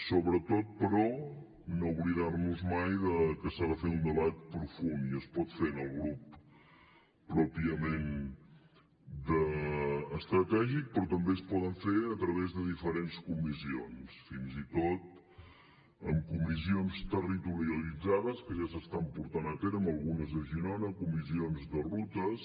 sobretot però no oblidar nos mai de que s’ha de fer un debat profund i es pot fer en el grup pròpiament estratègic però també es pot fer a través de diferents comissions fins i tot en comissions territorialitzades que ja s’estan portant a terme algunes a girona comissions de rutes